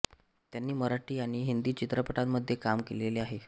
त्यांनी मराठी आणि हिंदी चित्रपटांमध्ये काम केलेले आहे